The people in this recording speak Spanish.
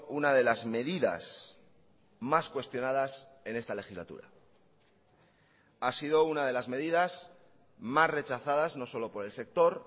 una de las medidas más cuestionadas en esta legislatura ha sido una de las medidas más rechazadas no solo por el sector